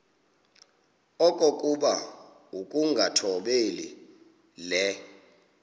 okokuba ukungathobeli le